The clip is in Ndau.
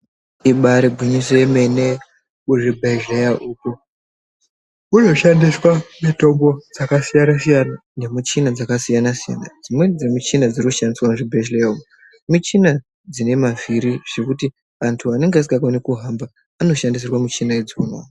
Ibaari gwinyiso remene muzvibhedhlera umu munoshandiswa mitombo dzakasiyana siyana nemichini dzakasiyana siyana. Dzimweni dzemichina dziri kushandiswa muzvibhedhlera umu michina dzine mavhiri zvekuti vantu vanenge vasingakoni kuhamba vanoshandisirwa michina idzona.